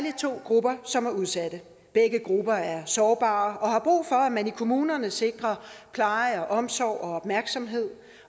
to grupper som er udsatte begge grupper er sårbare og har brug for at man i kommunerne sikrer pleje omsorg og opmærksomhed